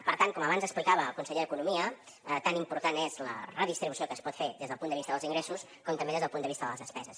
per tant com abans explicava el conseller d’economia tan important és la redistribució que es pot fer des del punt de vista dels ingressos com també des del punt de vista de les despeses